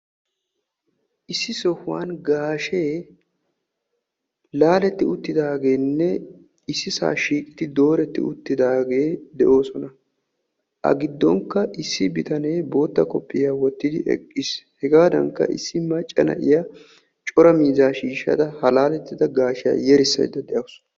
issi sohuwaan gaashshee laaleti uttidageenne issisaa shiiqqidi dooretti uttidaageti de'oosona. A giddonkka issi bitanee bootta koofiyiyaa woottidi eqqiis. hegadankka issi macca na'iyaa coraa miizzaa shiishshada ha laaletti uttida gaashiyaa yerisaydda de'awus.